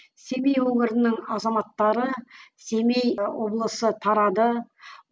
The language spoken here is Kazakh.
семей өңірінің азаматтары семей облысы тарады